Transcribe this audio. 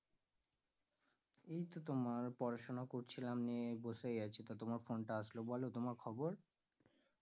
এইতো তোমার পড়াশোনা করছিলাম নিয়ে বসেই আছি তা তোমার phone টা আসলো, বলো তোমার খবর?